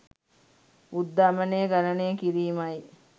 උද්ධමනය ගණනය කිරීමයි